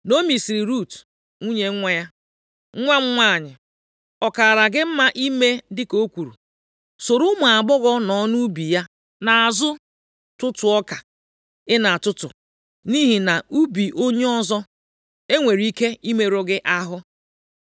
Naomi sịrị Rut, nwunye nwa ya, “Nwa m nwanyị, ọ kaara gị mma ime dịka o kwuru. Soro ụmụ agbọghọ nọ nʼubi ya nʼazụ tụtụọ ọka ị na-atụtụ, nʼihi na nʼubi onye ọzọ, e nwere ike imerụ gị ahụ.”